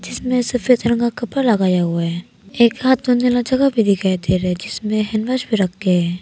जिसमें सफेद रंग का कपड़ा लगाया हुआ है। एक हाथ धोने का जगह भी दिखाई दे रहे जिसमें हैंडवाश भी रख के हैं।